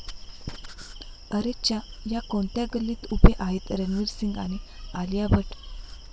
अरेच्चा...या कोणत्या गल्लीत उभे आहेत रणवीर सिंग आणि आलिया भट्ट